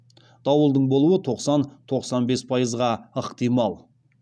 дауылдың болуы тоқсан тоқсан бес пайызға ықтимал